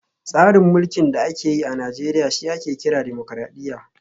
Tsarin mulkin da ake yi a Najeriya shi ake kira Dimokuradiyya